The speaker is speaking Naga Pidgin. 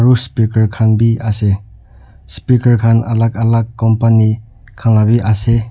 aru speaker khan bi ase speaker khan alak alak la company khan la bi ase.